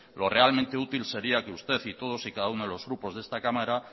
lo realmente útil sería que usted y todos y cada uno de los grupos de esta cámara